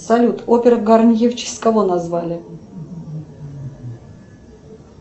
салют опера гарнье в честь кого назвали